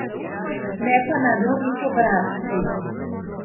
Ne pa na drugih obrazcih.